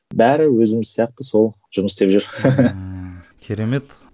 бәрі өзіміз сияқты сол жұмыс істеп жүр